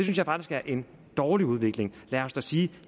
jeg faktisk er en dårlig udvikling lad os da sige